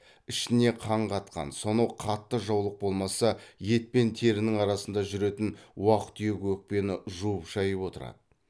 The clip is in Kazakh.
ішіне қан қатқан сонау қатты жаулық болмаса ет пен терінің арасында жүретін уақ түйек өкпені жуып шайып отырады